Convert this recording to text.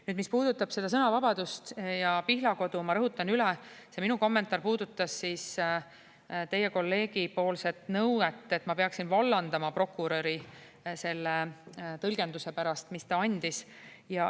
Nüüd, mis puudutab seda sõnavabadust ja Pihlakodu, ma rõhutan üle: see minu kommentaar puudutas teie kolleegi nõuet, et ma peaksin vallandama prokuröri selle tõlgenduse pärast, mis ta andis.